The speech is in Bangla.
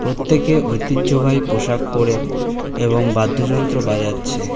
প্রত্যেকে ঐতিহ্যবাহী পোশাক করে এবং বাদ্যযন্ত্র বাজাচ্ছে।